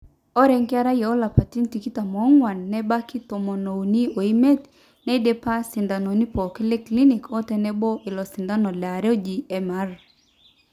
orlae nkera oolapaitin tikitam oong'wan nebaiki tomoniuni oimiet neidipa sindanoni pooki leclinic otenebo ilo sindano liare oji MR